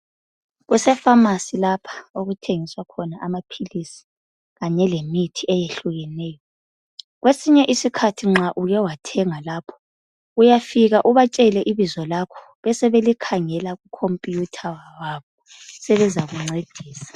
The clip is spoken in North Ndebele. Kuse Famasi lapha okuthengiswa khona amaphilisi kanye lemithi eyehlukeneyo kwesinye isikhathi nxa uke wathenga lapho uyafika ubatsele ibizo lakho besebekhangela ku khompiyutha wabo besebezakuncedisa.